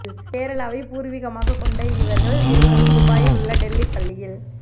கேரளாவை பூர்வீகமாக கொண்ட இவர்கள் இருவரும் துபாயில் உள்ள டெல்லி பள்ளியில்